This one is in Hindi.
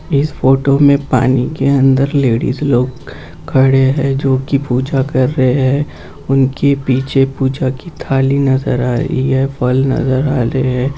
इस फोटो में पानी के अंदर लेडिस लोग खड़े हैं जो की पूजा कर रहे हैं उनके पीछे पूजा की थाली नजर आ रही है फल नजर आ रहे हे।